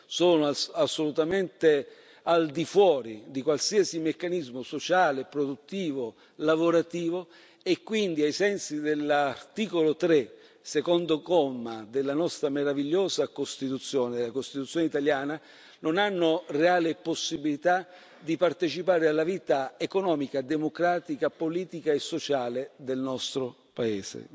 sono assolutamente al di fuori di qualsiasi meccanismo sociale, produttivo, lavorativo, e quindi ai sensi dell'articolo 3, secondo comma, della nostra meravigliosa Costituzione italiana, non hanno reale possibilità di partecipare alla vita economica, democratica, politica e sociale del nostro paese.